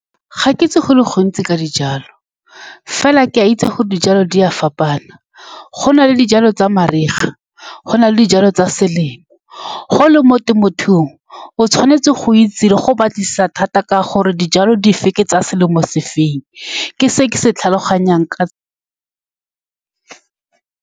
Ga ke itse go le gontsi ka dijalo, fela ke a itse gore dijalo di a fapana. Go na le dijalo tsa mariga, go na le dijalo tsa selemo. Fa o le mo temothuong, o tshwanetse go itse le go batlisisa thata ka gore dijalo dife ke tsa selemo sefeng ke se ke se tlhaloganyang ka .